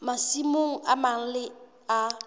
masimong a mang le a